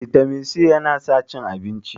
vitamin c yana sa cin abinci